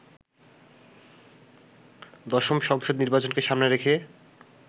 দশম সংসদ নির্বাচনকে সামনে রেখে